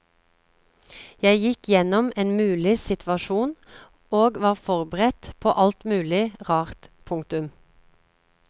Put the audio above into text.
Jeg gikk gjennom en mulig situasjon og var forberedt på alt mulig rart. punktum